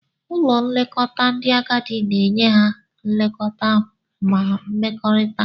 Ụlọ nlekọta ndị agadi na-enye ha nlekọta ma mmekọrịta.